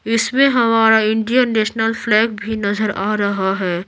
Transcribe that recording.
इसमें हमारा Indian national flag भी नजर आ रहा है।